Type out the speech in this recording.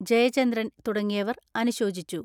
ജയചന്ദ്രൻ തുടങ്ങിയവർ അനുശോചിച്ചു.